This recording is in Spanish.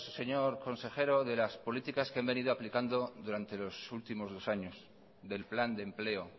señor consejero de las políticas que han venido aplicando durante los últimos dos años del plan de empleo